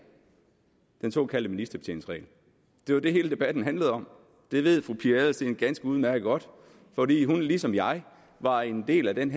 den såkaldte ministerbetjeningsregel det var det hele debatten handlede om det ved fru pia adelsteen ganske udmærket godt fordi hun ligesom jeg var en del af den